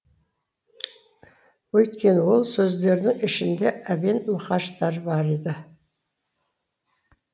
өйткені ол сөздердің ішінде әбен мұқаштар бар еді